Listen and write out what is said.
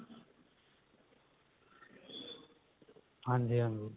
ਹਾਂਜੀ ਹਾਂਜੀ